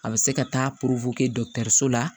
A bɛ se ka taa so la